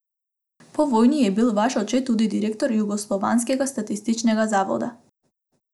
Po vojni je bil vaš oče tudi direktor jugoslovanskega statističnega zavoda.